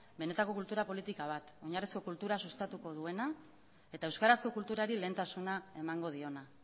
benetako kultura politika bat oinarrizko kultura sustatuko duena eta euskarazko kulturari lehentasuna emango diona